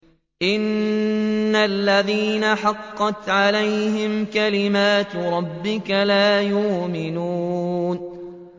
إِنَّ الَّذِينَ حَقَّتْ عَلَيْهِمْ كَلِمَتُ رَبِّكَ لَا يُؤْمِنُونَ